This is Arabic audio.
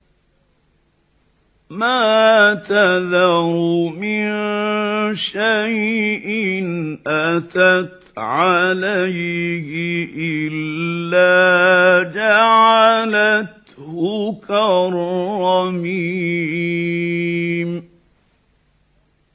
مَا تَذَرُ مِن شَيْءٍ أَتَتْ عَلَيْهِ إِلَّا جَعَلَتْهُ كَالرَّمِيمِ